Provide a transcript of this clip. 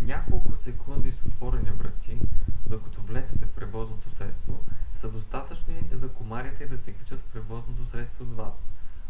няколко секунди с отворени врати докато влезете в превозното средство са достатъчни за комарите да се качат в превозното средство с вас